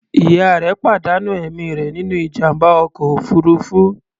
Ìyá rẹ̀ pàdánù ẹ̀mí rẹ̀ nínú ìjàm̀bá ọkọ̀ òfuruufú.